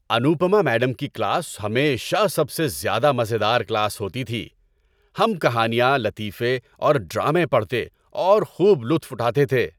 Anupama madam کی class ہمیشہ سب سے زیادہ مزے دار کلاس ہوتی تھی۔ ہم کہانیاں، لطیفے اور ڈرامے پڑھتے اور خوب لطف اٹھاتے تھے۔